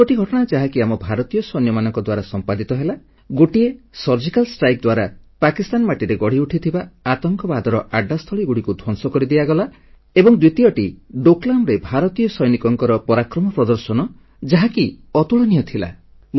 ଦୁଇଗୋଟି ଘଟଣା ଯାହାକି ଆମ ଭାରତୀୟ ସୈନ୍ୟମାନଙ୍କ ଦ୍ୱାରା ସମ୍ପାଦିତ ହେଲା ଗୋଟିଏ ସର୍ଜିକାଲ୍ ଷ୍ଟ୍ରାଇକ୍ ଦ୍ୱାରା ପାକିସ୍ଥାନ ମାଟିରେ ଗଢ଼ିଉଠିଥିବା ଆତଙ୍କବାଦର ଆଡ୍ଡାସ୍ଥଳୀଗୁଡ଼ିକୁ ଧ୍ୱଂସ କରିଦିଆଗଲା ଏବଂ ଦ୍ୱିତୀୟଟି ଡୋକଲାମ୍ ରେ ଭାରତୀୟ ସୈନିକଙ୍କର ପରାକ୍ରମ ପ୍ରଦର୍ଶନ ଯାହାକି ଅତୁଳନୀୟ ଥିଲା